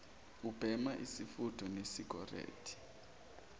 ubhema isifutho senicorette